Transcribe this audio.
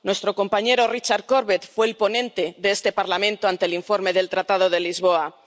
Nuestro compañero Richard Corbett fue el ponente de este Parlamento sobre el informe del Tratado de Lisboa.